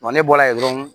ne bɔla yen dɔrɔn